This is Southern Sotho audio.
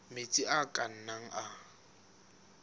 metsi a ka nnang a